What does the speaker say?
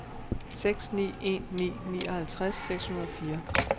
seks ni en ni nioghalvtreds seks hundrede og fire